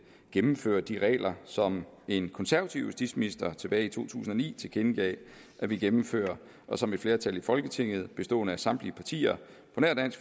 gennemføre de regler som en konservativ justitsminister tilbage i to tusind og ni tilkendegav at ville gennemføre og som et flertal i folketinget bestående af samtlige partier